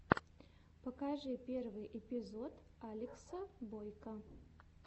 покажи первый эпизод алекса бойко